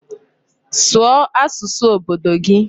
Sụọ asụsụ obodo gị!